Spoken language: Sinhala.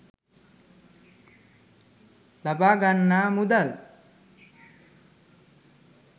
ලබාගන්නා මුදල්